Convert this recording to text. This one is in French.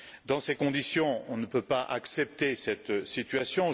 Dans ces conditions, on ne peut pas accepter cette situation.